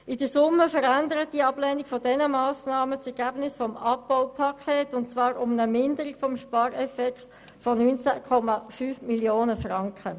In der Summe verändert die Ablehnung dieser Massnahmen das Ergebnis des Abbaupakets um 19,5 Mio. Franken.